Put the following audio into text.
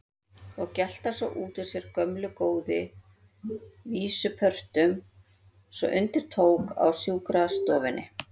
Og gelta svo út úr sér gömlu góðu vísupörtunum svo undir tók á sjúkrastofunni.